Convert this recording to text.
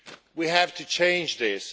We have to change this.